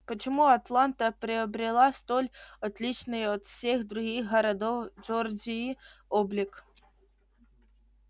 почему атланта приобретала столь отличный от всех других городов джорджии облик